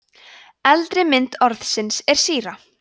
eldri mynd orðsins er síra